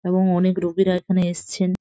এবং অনেক রুগীরা এখানে এসেছেন।